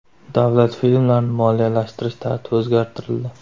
Davlat filmlarini moliyalashtirish tartibi o‘zgartirildi.